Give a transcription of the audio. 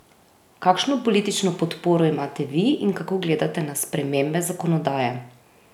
Kakšno politično podporo imate vi in kako gledate na spremembe zakonodaje?